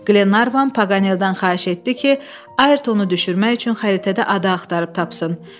Qlenarvan Paqanelldan xahiş etdi ki, Ayrtonu düşürmək üçün xəritədə ada axtarıb tapsın.